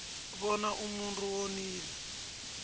bona umuntu wonile